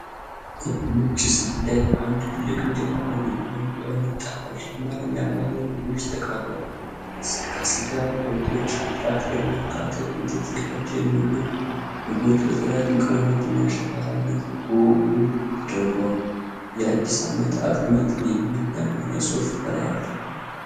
ክብ ነጭ ሳህን ላይ በአንድ ትልቅ እንጀራ ላይ የተለያዩ አይነት ጣፋጭ የአማርኛ ባህላዊ ምግቦች ተቀርበዋል። ከስጋ ወጦች፣ ከጥራጥሬ እና ከአትክልት የተዘጋጁ ምግቦች በተለያዩ ቀለማትና ሸካራነት በወጉ ተደርድረዋል። "የአዲስ አመት አጥሚት" የሚል የአማርኛ ጽሑፍ ከላይ አለ።